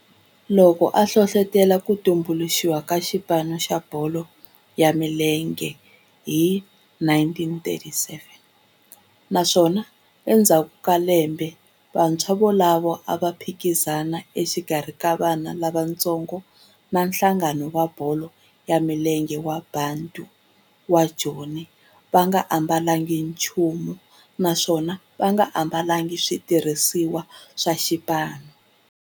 Loko a hlohlotela ku tumbuluxiwa ka xipano xa bolo ya milenge hi 1937 naswona endzhaku ka lembe vantshwa volavo a va phikizana exikarhi ka vana lavatsongo va nhlangano wa bolo ya milenge wa Bantu wa Joni va nga ambalanga nchumu naswona va nga ambalanga nchumu xitirhisiwa xa xipano.